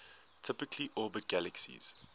typically orbit galaxies